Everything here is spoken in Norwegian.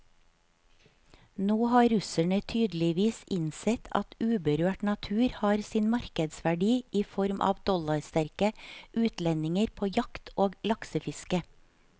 Nå har russerne tydeligvis innsett at uberørt natur har sin markedsverdi i form av dollarsterke utlendinger på jakt og laksefiske.